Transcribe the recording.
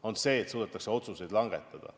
On see, et suudetakse otsuseid langetada.